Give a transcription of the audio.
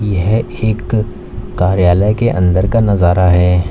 यह एक कार्यालय के अंदर का नजारा है।